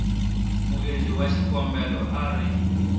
muendli wa xikombelo a ri